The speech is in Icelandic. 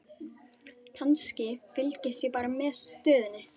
Kannski, fylgist ég bara með stöðunni?